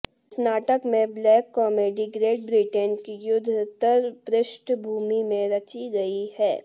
इस नाटक में ब्लैक कामेडी ग्रेट ब्रिटेन की युद्धत्तर पृष्ठभूमि में रची गई है